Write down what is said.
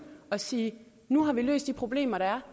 og sige nu har vi løst de problemer der